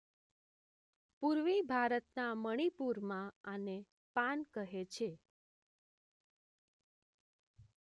પૂર્વી ભારતના મણીપુરમાં આને પાન કહે છે